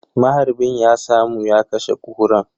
Maharbin ya samu ya kashe Kuran.